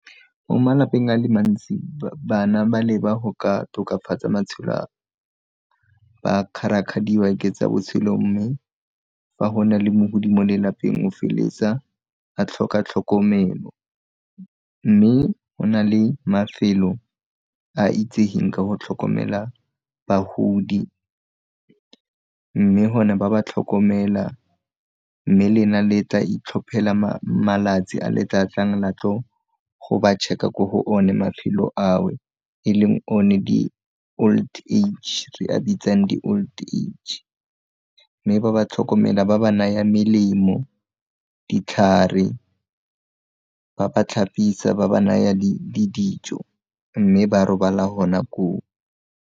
Mo malapeng a le mantsi bana ba leba go ka tokafatsa matshelo ba kgarakgadiwa ke tsa botshelo mme fa go na le mogodi mo lelapeng o feletsa a tlhoka tlhokomelo, mme go na le mafelo a itsegeng ka go tlhokomela bagodi mme go ne ba ba tlhokomela mme lena le tla itlhophela malatsi a le tlatlang latlo go ba check-a ko go o ne mafelo ao e leng o ne di old age re a bitsang di old age, mme ba ba tlhokomela, ba ba naya melemo, ditlhare, ba ba tlhapisa, ba ba naya dijo mme ba robala gona koo.